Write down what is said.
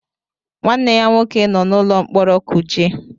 Nwanne ya nwoke nọ n'ụlọ mkpọrọ Kuje.